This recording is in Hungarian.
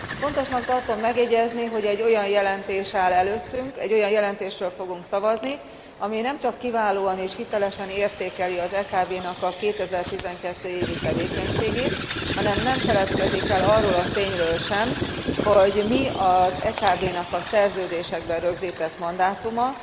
Fontosnak tartom megjegyezni, hogy egy olyan jelentés áll előttünk, egy olyan jelentésről fogunk szavazni, amely nemcsak kiválóan és hitelesen értékeli az EKB 2012. évi tevékenységét, hanem nem feledkezik meg arról a tényről sem, hogy mi az EKB nak a szerződésekben rögzített mandátuma,